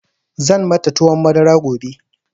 Zan mata tuwon madara gobe.